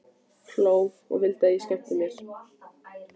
Hló og vildi að ég skemmti mér.